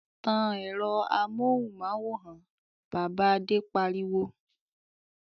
"Tan ẹ̀rọ amóhùmáwòhán! Bàbá Adé pariwo.